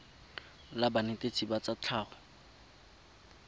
la banetetshi ba tsa tlhago